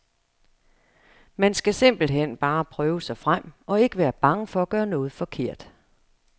Man skal simpelt hen bare prøve sig frem, og ikke være bange for at gøre noget forkert.